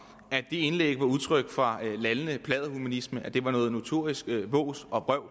at det indlæg var udtryk for lallende pladderhumanisme og at det var noget notorisk vås og vrøvl